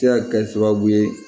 Se ka kɛ sababu ye